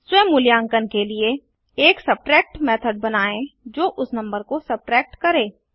स्व मूल्यांकन के लिए एक सब्ट्रैक्ट मेथड बनाएँ जो उस नंबर को सब्ट्रैक्ट करें